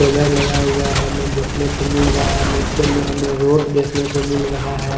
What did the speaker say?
Solar लगा हुआ है हमें देखने को मिल रहा है नीचे में हमें रोड देखने को मिल रहा है।